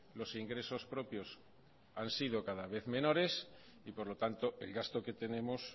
los ingresos propios han sido cada vez menores y por lo tanto el gasto que tenemos